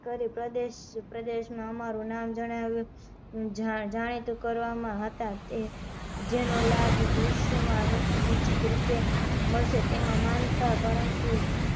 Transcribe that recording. કરી પ્ર્દેશ નુ અમારુ નામ જણાવ્યું જાણીતું કરવામાં હતા તે જેનો ભવિષ્યવાણી નિશ્ચિત રૂપે મળશે તેમાં માનતા પરંતુ